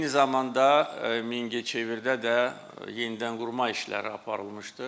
Eyni zamanda Mingəçevirdə də yenidən qurma işləri aparılmışdır.